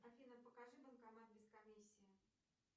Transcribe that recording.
афина покажи банкомат без комиссии